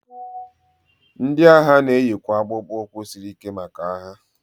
ndị agha na-eyikwa akpụkpọ ụkwụ siri ike maka agha